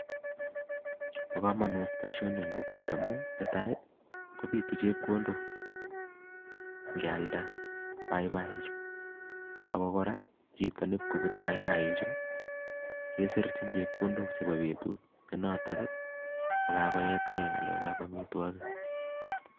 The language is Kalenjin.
Bo komonut boishoni en kokwet amun netai kobiitu chepkondok ingealda paipai ichu ako kora chito nenyon kobute paipaiichu kesirchin chepkondok chebo beetut nenotok kakoyetgee en ngalek ab amitwogiik